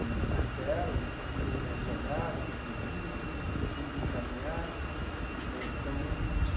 Um castelo onde sua família está resguardada, protegida, seus filhos encaminhados né então.